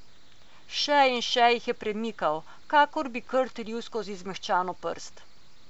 Še in še jih je premikal, kakor bi krt ril skozi zmehčano prst.